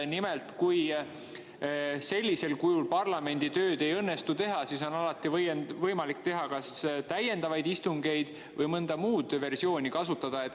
Nimelt, kui sellisel kujul parlamendil ei õnnestu tööd teha, siis on alati võimalik teha kas täiendavaid istungeid või mõnda muud versiooni kasutada.